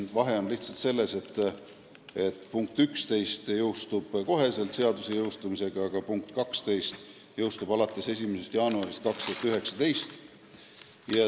Vahe on lihtsalt selles, et punkt 11 peaks jõustuma kohe koos seaduse jõustumisega, punkt 12 alles 1. jaanuaril 2019.